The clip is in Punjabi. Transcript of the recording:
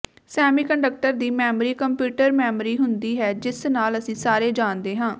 ਸੈਮੀਕੰਡਕਟਰ ਦੀ ਮੈਮਰੀ ਕੰਪਿਊਟਰ ਮੈਮੋਰੀ ਹੁੰਦੀ ਹੈ ਜਿਸ ਨਾਲ ਅਸੀਂ ਸਾਰੇ ਜਾਣਦੇ ਹਾਂ